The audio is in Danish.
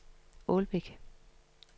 Ålbæk